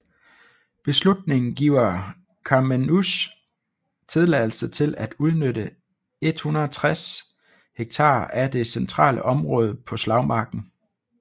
Beslutningen giver Carmeuse tilladelse til at udnytte 160 ha af det centrale område på slagmarken